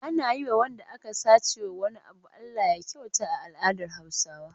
Ana yi wa wanda aka sace wa wani abu Alllah ya kyauta a al'adar Hausawa.